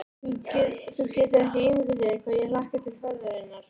Þú getur ekki ímyndað þér hvað ég hlakka til ferðarinnar.